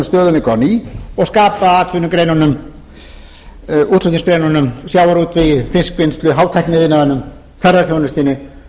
stöðugleika á ný og skapa atvinnugreinunum útflutningsgreinunum sjávarútvegi fiskvinnslu hátækniiðnaðinum ferðaþjónustunni